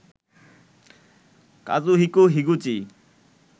Kazuhiko Higuchi